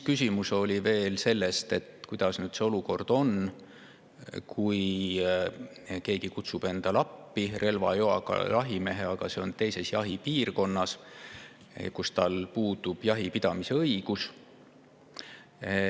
Siis oli veel küsimus, kuidas nüüd selle olukorraga on, kui keegi kutsub endale appi relvaloaga jahimehe, aga selles jahipiirkonnas puudub tal jahipidamise õigus.